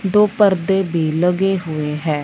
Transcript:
दो पर्दे भी लगे हुए हैं।